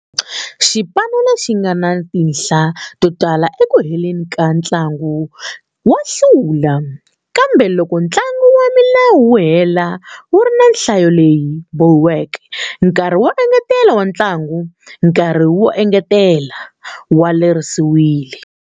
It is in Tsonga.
Xipano lexi nga na tinhla to tala eku heleni ka ntlangu wa hlula, kambe loko ntlangu wa milawu wu hela wu ri na nhlayo leyi bohiweke, nkarhi wo engetela wa ntlangu, nkarhi wo engetela, wa lerisiwile.